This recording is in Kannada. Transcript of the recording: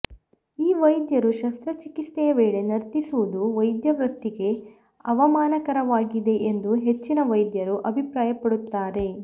ಈ ವೈದ್ಯರು ಶಸ್ತ್ರಚಿಕಿತ್ಸೆಯ ವೇಳೆ ನರ್ತಿಸುವುದು ವೈದ್ಯವೃತ್ತಿಗೇ ಅವಮಾನಕರವಾಗಿದೆ ಎಂದು ಹೆಚ್ಚಿನ ವೈದ್ಯರು ಅಭಿಪ್ರಾಯ ಪಡುತ್ತಾರೆ